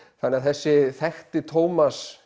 þannig að þessi þekkti